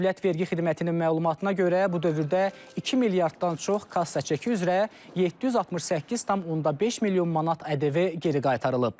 Dövlət Vergi Xidmətinin məlumatına görə, bu dövrdə 2 milyarddan çox kassa çeki üzrə 768,5 milyon manat ƏDV geri qaytarılıb.